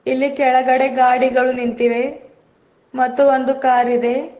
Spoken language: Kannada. ಇಲ್ಲಿ ಕೆಳಗಡೆ ಗಾಡಿಗಳು ನಿಂತಿವೆ ಮತ್ತು ಒಂದು ಕಾರ್ ಇದೆ.